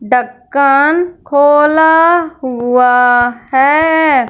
ढक्कन खोला हुआ है।